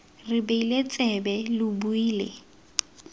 re beile tsebe lo buile